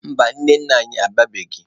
Mba, nne nna anyị abịabeghị.